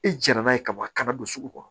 I jara n'a ye kaban a kana don sugu kɔnɔ